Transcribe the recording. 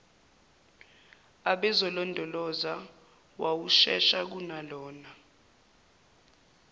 ababezolondoloza wawushesha kunalona